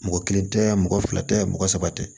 Mɔgɔ kelen tɛ mɔgɔ fila tɛ mɔgɔ saba tɛ